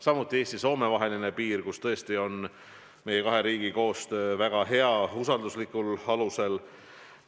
Samuti otsused Eesti ja Soome vahelise piiri kohta – seegi koostöö meie kahe riigi vahel on tõesti väga hea, usalduslikul alusel.